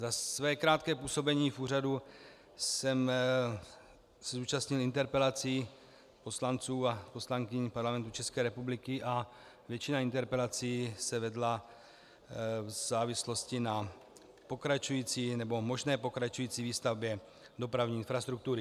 Za své krátké působení v úřadu jsem se účastnil interpelací poslanců a poslankyň Parlamentu České republiky a většina interpelací se vedla v závislosti na pokračující nebo možné pokračující výstavbě dopravní infrastruktury.